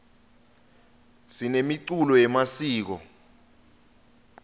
sinemiculo yemasiko